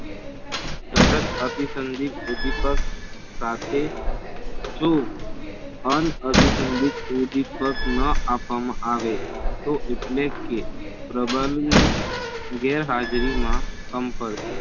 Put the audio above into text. સતત અભિસંઘી ઉંધીપગ સાથે જો અનઅભીસાંધિક ઉંધીપગ ન આપવામાં આવે તો એટલે કે પ્રબળની ગેરહાજરી માં સંપર્ક